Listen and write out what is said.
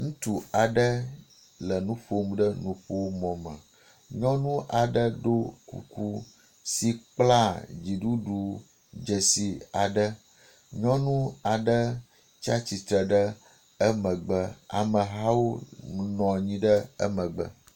Ŋutsu aɖe le nu ƒom ɖe nuƒomɔ me. Nyɔnu aɖe ɖo kuku si kpla dziɖuɖu dzesi aɖe. Nyɔnu aɖe tsi atsitre ɖe emegbe. Amehawo nɔ anyi ɖe emegbe.